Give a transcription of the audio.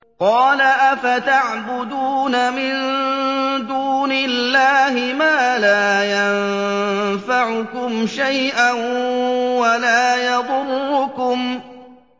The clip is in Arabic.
قَالَ أَفَتَعْبُدُونَ مِن دُونِ اللَّهِ مَا لَا يَنفَعُكُمْ شَيْئًا وَلَا يَضُرُّكُمْ